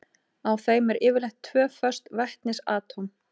Á þeim eru yfirleitt tvö föst vetnisatóm.